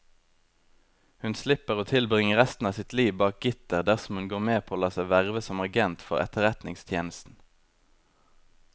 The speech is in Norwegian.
Hun slipper å tilbringe resten av sitt liv bak gitter dersom hun går med på å la seg verve som agent for etterretningstjenesten.